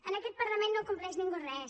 en aquest parlament no compleix ningú res